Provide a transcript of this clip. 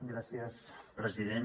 gràcies president